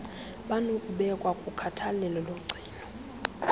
banokubekwa kukhathalelo logcino